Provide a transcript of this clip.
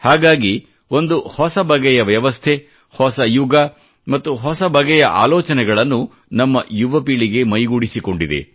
ಹಾಗಾಗಿ ಒಂದು ಹೊಸ ಬಗೆಯ ವ್ಯವಸ್ಥೆ ಹೊಸ ಯುಗ ಮತ್ತು ಹೊಸ ಬಗೆಯ ಆಲೋಚನೆಗಳನ್ನು ನಮ್ಮ ಯುವ ಪೀಳಿಗೆ ಮೈಗೂಡಿಸಿಕೊಂಡಿದೆ